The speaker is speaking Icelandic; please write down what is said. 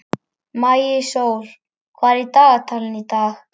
Maísól, hvað er á dagatalinu í dag?